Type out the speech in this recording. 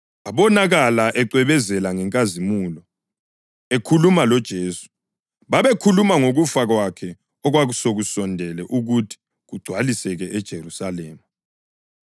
abonakala ecwebezela ngenkazimulo, ekhuluma loJesu. Babekhuluma ngokufa kwakhe okwasekusondele ukuthi kugcwaliseke eJerusalema.